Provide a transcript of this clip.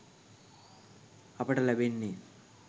අපට ලැබෙන්නෙ.